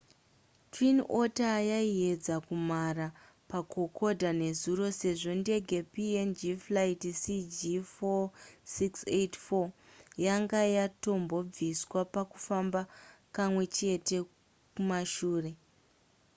twin otter yaiedza kumhara pakokoda nezuro sezvo ndege png flight cg4684 yanga yatombobviswa pakufamba kamwechete kumashure